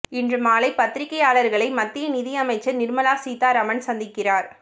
இன்று மாலை பத்திரிக்கையாளர்களை மத்திய நிதி அமைச்சர் நிர்மலா சீதாராமன் சந்திக்கிறார்